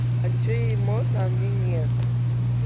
а почему ей можно а мне нет